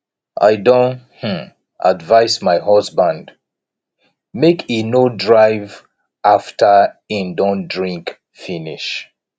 i don um advice my husband make he no drive after he don drink finish